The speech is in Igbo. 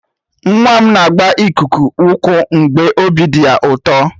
Nwa m na-agba ikuku ụkwụ mgbe obi dị ya ụtọ.